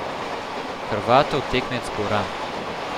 Hrvatov tekmec bo Ram.